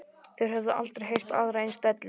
Þeir höfðu aldrei heyrt aðra eins dellu.